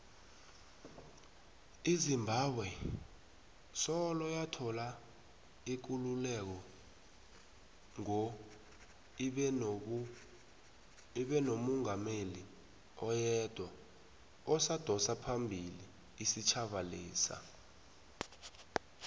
izimbabwe soloyathola ikululeko ngo ibenomungameli oyedwa odosaphambili isitjhaba lesa